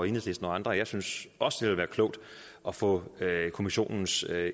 enhedslisten og andre og jeg synes også det vil være klogt at få kommissionens